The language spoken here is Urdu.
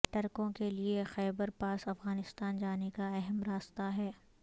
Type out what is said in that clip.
ٹرکوں کے لیے خیبر پاس افغانستان جانے کا اہم راستہ ہے